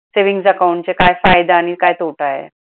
savings account चा काय फायदा आणि काय तोटा आहे?